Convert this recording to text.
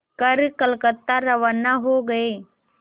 कर कलकत्ता रवाना हो गए